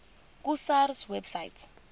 ku sars website